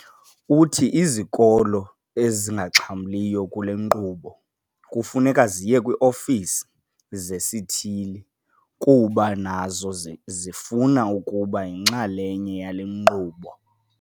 Uthi izikolo ezingaxhamliyo kule nkqubo kufuneka ziye kwii-ofisi zesithili ukuba nazo zifuna ukuba yinxalenye yale nkqubo.